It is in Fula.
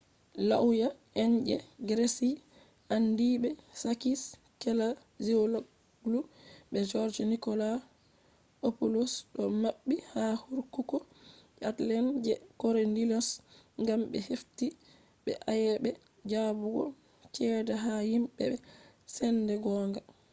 lauya en je greece andiibe sakis kechagioglou be george nikolakopoulos do mabbi ha kurkuku je athens je korydallus gam be hefti be be ayebe jabugo chede ha himbe be sende gonga